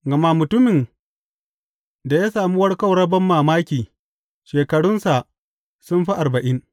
Gama mutumin da ya sami warkarwar banmamaki, shekarunsa sun fi arba’in.